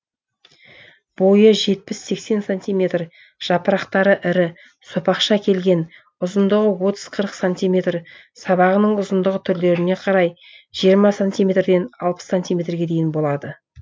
бойы жетпіс сексен сантиметр жапырақтары ірі сопақша келген ұзындығы отыз қырық сантиметр сабағының ұзындығы түрлеріне қарай жиырма сантиметрден алпыс сантиметрге дейін болады